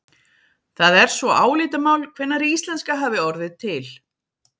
Það er svo álitamál hvenær íslenska hafi orðið til.